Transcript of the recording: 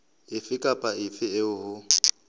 efe kapa efe eo ho